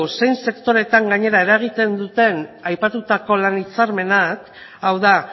zein sektoreetan eragiten duten aipatutako lan hitzarmenak hau da